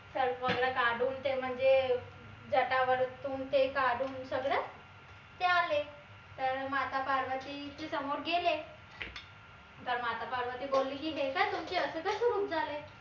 सर्प वगैरे काढून ते म्हनजे अह जटा वरतून ते काढून सगळं ते आले तर माता पार्वतीचे समोर गेले तर माता पार्वती बोलली की हे काय तुमचे अशे कशे रूप झाले?